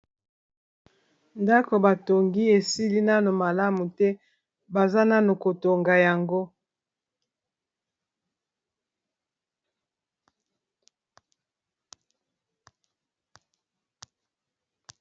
ndako batongi esili nano malamu te baza nano kotonga yango